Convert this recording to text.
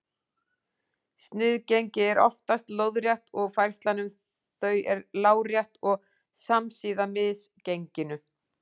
Sniðgengi eru oftast lóðrétt og færslan um þau er lárétt og samsíða misgenginu.